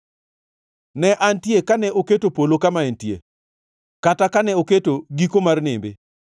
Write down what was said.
Ne antie kane oketo polo kama entie, kata kane oketo giko mar nembe,